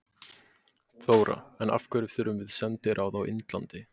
Þóra: En af hverju þurfum við sendiráð í Indlandi?